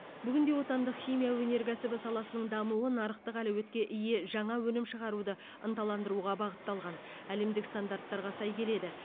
бүгінде отандық химия өнеркәсібі саласының дамуы нарықтық әлеуетке ие жаңа өнім шығаруды ынталандыруға бағытталған әлемдік стандарттарға сай келеді